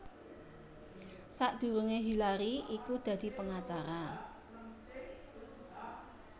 Sadurungé Hillary iku dadi pengacara